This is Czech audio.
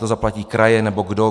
To zaplatí kraje, nebo kdo?